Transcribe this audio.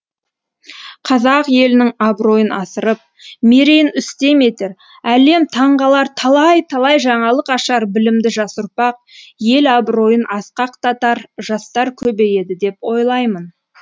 қазақ елінің абыройын асырып мерейін үстем етер әлем таңғалар талай талай жаңалық ашар білімді жас ұрпақ ел абыройын асқақтатар жастар көбейеді деп ойлаймын